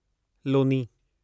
Loni